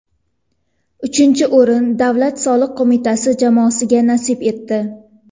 Uchinchi o‘rin Davlat soliq qo‘mitasi jamoasiga nasib etdi.